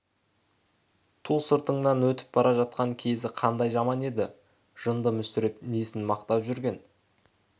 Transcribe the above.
ту сыртыңнан өтіп бара жатқан кезі қандай жаман еді жынды мүсіреп несін мақтап жүрген